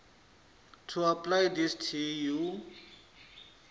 to apply tshi tea u